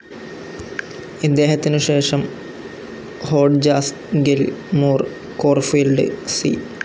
ഇദ്ദേഹത്തിനുശേഷം Hodges, Gill, Moore, Corfield, C.